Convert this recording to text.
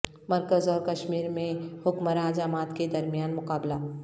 مرکز اور کشمیر میں حکمراں جماعت کے درمیان مقابلہ